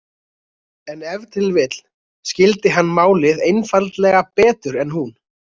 En ef til vill skildi hann málið einfaldlega betur en hún.